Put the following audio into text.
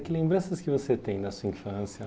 Que lembranças que você tem na sua infância?